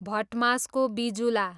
भटमासको बिजुला